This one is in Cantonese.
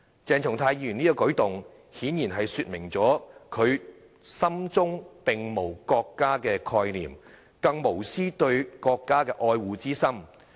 鄭松泰議員這個舉動，顯然是說明了他心中並無國家的概念，更無絲毫對國家愛護的心。